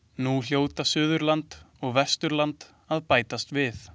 Nú hljóta Suðurland og Vesturland að bætast við.